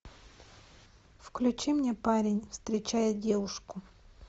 включи мне парень встречает девушку